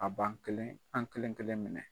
A b'an kelen an' kelen-kelen minɛ.